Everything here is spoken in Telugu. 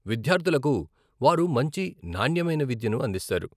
విద్యార్థులకు వారు మంచి నాణ్యమైన విద్యను అందిస్తారు.